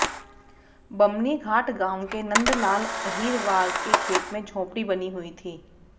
बमनी घाट गांव के नंद लाल अहिरवार के खेत में झोपड़ी बनी हुई थी